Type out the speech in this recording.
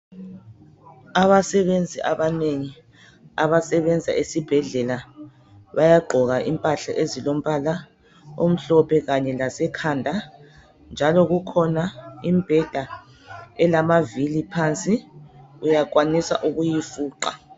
Abasebenzi abanengi abasebenza esibhedlela bayagqoka impahla ezilombala omhlophe kanye lasekhanda, njalo kukhona imbheda elamavili phansi. Uyakwanisa ukuyifuqa.